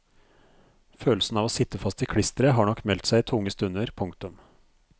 Følelsen av å sitte fast i klisteret har nok meldt seg i tunge stunder. punktum